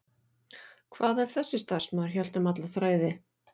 Hvað ef þessi starfsmaður hélt um alla þræði?